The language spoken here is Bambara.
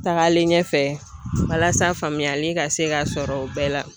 Tagalen ɲɛfɛ walasa faamuyali ka se ka sɔrɔ o bɛɛ la.